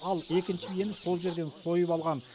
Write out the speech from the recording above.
ал екінші биені сол жерден сойып алған